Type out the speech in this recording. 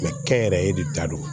kɛnyɛrɛye de da don